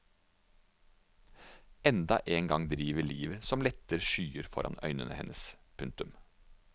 Enda en gang driver livet som lette skyer foran øynene hennes. punktum